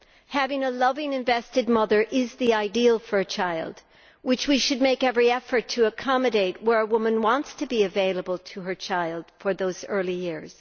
Having a loving invested mother is the ideal for a child, which we should make every effort to accommodate where a woman wants to be available to her child in those early years.